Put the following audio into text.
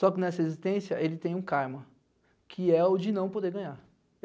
Só que nessa existência ele tem um karma, que é o de não poder ganhar.